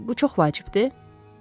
Bu çox vacibdir?